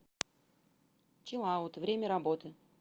чилаут время работы